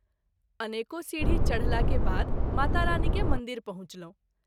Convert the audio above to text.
अनेको सीढी चढला के बाद माता रानी के मंदिर पहुँचलहुँ।